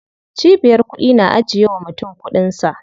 Cibiyar kuɗi na ajiye wa mutum kuɗin sa.